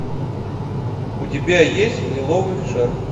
у тебя есть лиловый шар